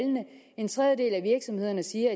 en tredjedel af virksomhederne siger